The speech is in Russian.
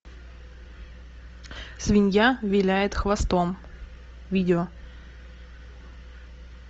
свинья виляет хвостом видео